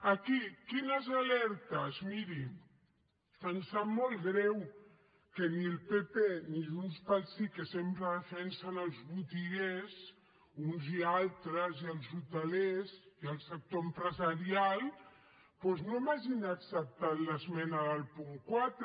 aquí quines alertes miri em sap molt greu que ni el pp ni junts pel sí que sempre defensen els botiguers uns i altres i els hoteleres i el sector empresarial doncs no m’hagin acceptat l’esmena del punt quatre